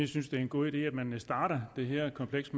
synes det er en god idé at man starter det her kompleks